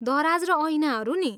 दराज र ऐनाहरू नि?